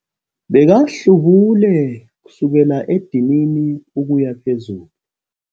Bekahlubule kusukela edinini ukuya phezulu.